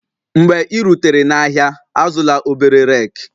Mgbe ị rutere n'ahịa, azụla obere rake